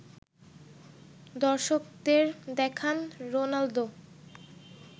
দর্শকদের দেখান রোনালদো